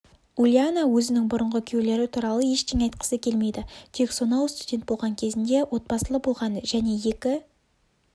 ульяна өзінің бұрынғы күйеулері туралы ештеңе айтқысы келмейді тек сонау студент болған кезінде отбасылы болғанын жәнеекі